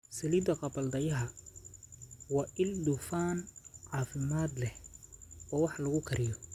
Saliidda gabbaldayaha: Waa il dufan caafimaad leh oo wax lagu kariyo.